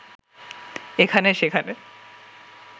এখানে সেখানে